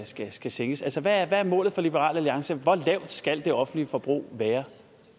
skal skal sænkes altså hvad er målet for liberal alliance hvor lavt skal det offentlige forbrug være